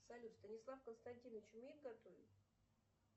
салют станислав константинович умеет готовить